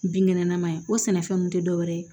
Binkɛnɛ nama ye o sɛnɛfɛn nun tɛ dɔwɛrɛ ye